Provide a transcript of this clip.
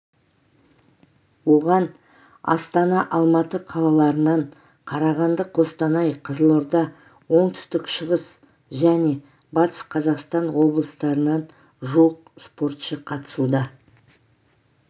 оған астана алматы қалаларынан қарағанды қостанай қызылорда оңтүстік шығыс және батыс қазақстан облыстарынан жуық спортшы қатысуда